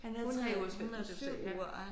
Han havde 3 ugers ferie det var det du sagde ja